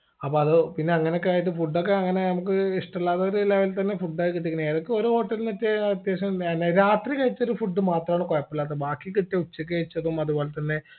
അപ്പൊ അത് പിന്നങ്ങനെക്കയായിട്ട് food ഒക്കെ അങ്ങനെ നമ്മക്ക് ഇഷ്ടല്ലാത്തൊരു level തന്നെ food ഒക്കെ കിട്ടീക്കണ് ഏതൊക്കെ ഒരു hotel ന്നൊക്കെ അത്യാവശ്യം മേല രാത്രി കഴിച്ചൊരു food മാത്രാണ് കൊഴപ്പില്ലാത്തത് ബാക്കി കിട്ടിയ ഉച്ചക്ക് കഴിച്ചതും അതുപോലെ തന്നെ